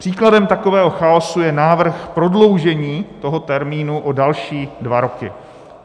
Příkladem takového chaosu je návrh prodloužení toho termínu o další dva roky.